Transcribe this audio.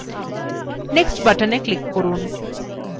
next button click করুন